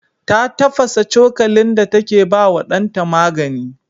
Ta tafasa cokalin da take ba wa ɗanta magani.